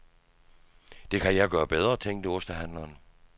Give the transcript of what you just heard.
Det kan jeg gøre bedre, tænkte ostehandleren.